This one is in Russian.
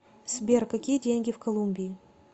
сбер какие деньги в колумбии